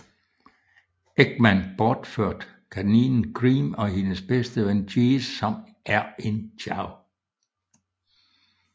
Eggman bortført kaninen Cream og hendes bedste ven Cheese som er en Chao